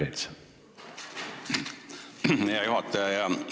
Aitäh, hea juhataja!